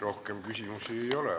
Rohkem küsimusi ei ole.